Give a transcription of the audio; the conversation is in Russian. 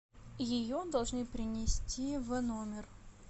ее должны принести в номер